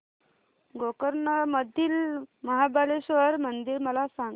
गोकर्ण मधील महाबलेश्वर मंदिर मला सांग